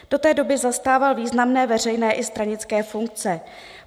Do té doby zastával významné veřejné i stranické funkce.